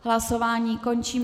Hlasování končím.